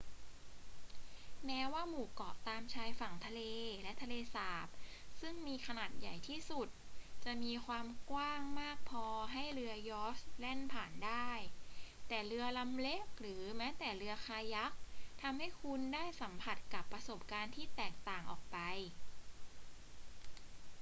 แม้ว่าหมู่เกาะตามชายฝั่งทะเลและทะเลสาบซึ่งมีขนาดใหญ่ที่สุดจะมีความกว้างมากพอให้เรือยอชต์แล่นผ่านได้ แต่เรือลำเล็กหรือแม้แต่เรือคายัคทำให้คุณได้สัมผัสกับประสบการณ์ที่แตกต่างออกไป